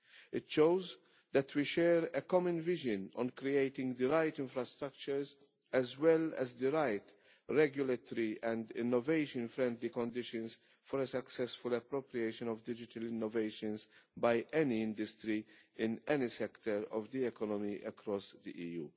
It shows that we share a common vision on creating the right infrastructures, as well as the right regulatory and innovation friendly conditions, for the successful appropriation of digital innovations by any industry in any sector of the economy across the EU.